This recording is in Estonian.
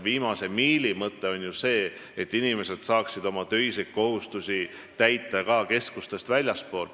Viimase miili mõte on ju see, et inimesed saaksid oma töiseid kohustusi täita ka keskustest väljaspool.